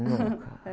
Nunca.